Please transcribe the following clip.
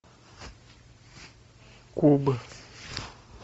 куб